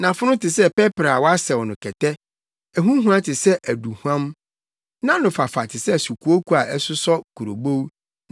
Nʼafono te sɛ pɛprɛ a wɔasɛw no kɛtɛ. Ɛho hua te sɛ aduhuam. Nʼanofafa te sɛ sukooko a ɛsosɔ kurobow.